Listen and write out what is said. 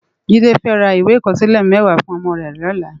Jide fè rá iwé ikòsilè mèwá fún òmò rè lòlá